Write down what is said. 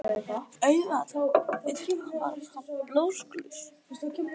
Auðvitað var hann blásaklaus!